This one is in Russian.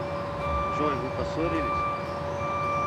джой вы поссорились